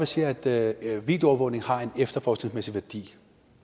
siger at videoovervågning har en efterforskningsmæssig værdi